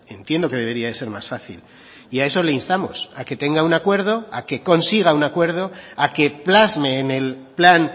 entiendo que debería de ser más fácil y a eso le instamos a que tenga un acuerdo a que consiga un acuerdo a que plasme en el plan